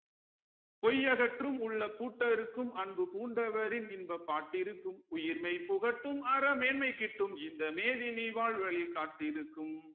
பொய் அகற்றும் உள்ள பூட்டறுக்கும் அன்பு பூண்டவரின் இன்பப் பாட்டிருக்கும் உயிர் மெய் புகட்டும் அறமேன்மை கிட்டும் இந்த மேதினி வாழ்வழி காட்டிருக்கும்